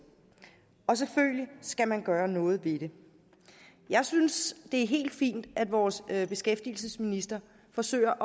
og selvfølgelig skal man gøre noget ved det jeg synes det er helt fint at vores beskæftigelsesminister forsøger